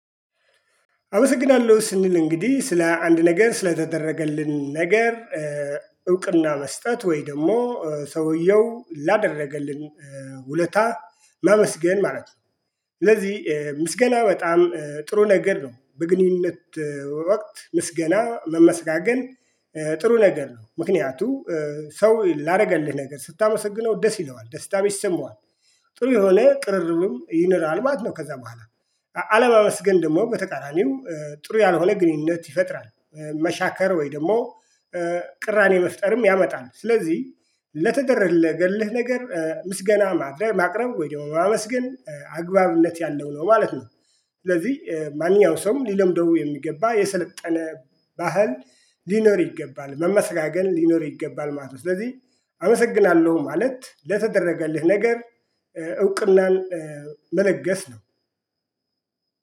አመሰግናለሁ ስንል እንግዲህ ስለ አንድ ነገር ስለተደረገልን ነገር እውቅና መስጠት ወይ ደግሞ ሰውየው ላደረገልን ውለታ ማመስገን ማለት ነው። ስለዚህ ምስገና በጣም ጥሩ ነገር ነው። በግንኙነት ወቅት ምስገና ግን ጥሩ ነገር ነው። ምክንያቱም ሰው ላደርገልህ ነገር ስታመሰግነው ደስ ይለዋል ደስታ ይሰማዋል። ጥሩ የሆነ ቅርርብም ይኖራል ማለት ነው ከዛ በኋላ። አለማመስገን ደግሞ በተቃራኒው ጥሩ ያልሆነ ግንኙነት ይፈጥራል። መሻከር ወይ ደግሞ ቅራኔ መፍጠርም ያመጣል። ስለዚህ ለተደረገልህ ነገር ምስገና ማቅረብ ወይ ደግሞ ማመስገን አግባብነት ያለው ነው ማለት ነው። ስለዚህ ማንኛውም ሰው ሊለምደው የሚገባ የሰለጠነ ባህል ሊኖር ይገባል መመሰጋገን ሊኖር ይገባል ማለት ነው። ስለዚህ አመሰግናለሁ ማለት ለተደረገልህ ነገር እውቅናን መለገስ ነው።